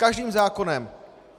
Každým zákonem.